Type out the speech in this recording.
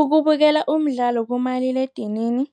Ukubukela umdlalo kumaliledinini